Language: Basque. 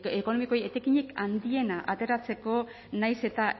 ekonomikoei etekinik handiena ateratzeko nahiz eta